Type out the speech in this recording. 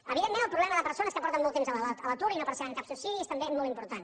evidentment el problema de persones que porten molt temps a l’atur i no perceben cap subsidi és també molt important